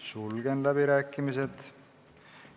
Sulgen läbirääkimised.